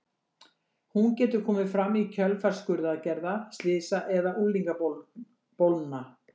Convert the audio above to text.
Hún getur komið fram í kjölfar skurðaðgerða, slysa eða unglingabólna.